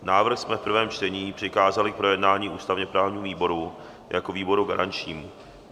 Návrh jsme v prvém čtení přikázali k projednání ústavně-právnímu výboru jako výboru garančnímu.